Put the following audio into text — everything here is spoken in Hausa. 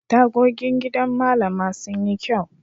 Tagogin gidan Mallama sun yi kyau.